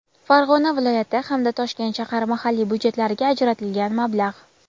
Farg‘ona viloyati hamda Toshkent shahar mahalliy byudjetlariga ajratilgan mablag‘;.